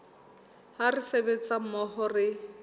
ha re sebetsa mmoho re